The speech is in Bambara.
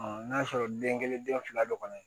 n'a y'a sɔrɔ den kelen den fila dɔ kɔnɔ